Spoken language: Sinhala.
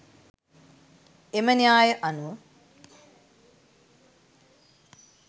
එම න්‍යාය අනුව